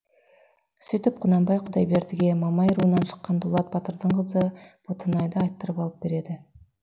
сөйтіп құнанбай құдайбердіге мамай руынан шыққан дулат батырдың қызы ботанайды айттырып алып береді